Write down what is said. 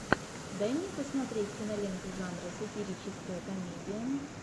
дай мне посмотреть киноленту жанра сатирическая комедия